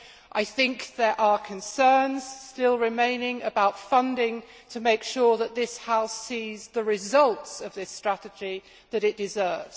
I think there are concerns still remaining about funding, to make sure that this House sees the results of this strategy that it deserves.